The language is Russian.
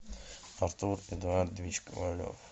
артур эдуардович ковалев